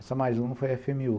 Essa mais uma foi a efe eme u